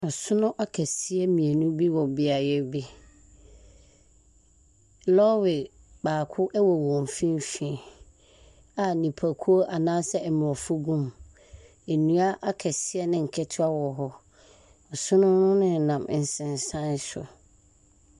Asono akɛseɛ mmienu bi wɔ beaeɛ bi. Lɔre baako wɔ wɔn mfimfini, a nnipa kuo anaasɛ aborɔfo gum. Nnua akɛse ne nketewa wɔ hɔ. Asono no nenam nsensan so.